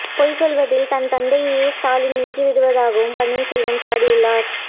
பொய் சொல்வதில் தன் தந்தையையே ஸ்டாலின் மிஞ்விட்டதாகவும் பன்னீர்செல்வம் சாடி உள்ளார்